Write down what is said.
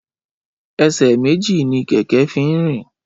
Ẹsẹ méjì ni kẹkẹ fin rin